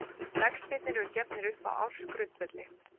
Vextirnir eru gefnir upp á ársgrundvelli.